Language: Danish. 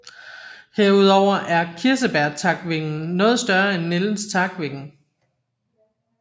Herudover er kirsebærtakvingen noget større end nældens takvinge